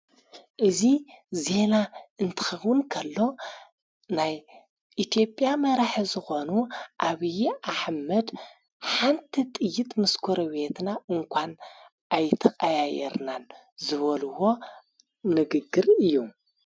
እዙ ዜና እንትኸቡንከሎ ናይ ኢቲዮጵያ መራሕ ዝኾኑ ኣብዪ ኣሕመድ ሓንተ ጥይት ምስ ኮረቤትጎ እንኳን ኣይተቀያየርናን ዝበልዎ ነግግር እዩ።